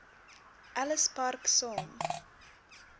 ellis park saam